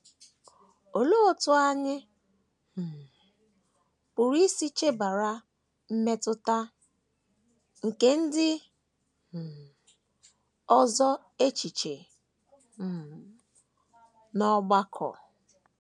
Olee otú anyị um pụrụ isi chebara mmetụta nke ndị um ọzọ echiche um n’ọgbakọ?